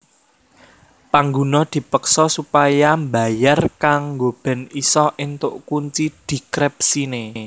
Pangguna dipeksa supaya mbayar kanggo bèn isa éntok kunci dikrepsiné